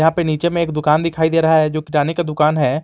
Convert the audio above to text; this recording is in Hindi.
यहां पे नीचे में एक दुकान दिखाई दे रहा है जो किराने का दुकान है।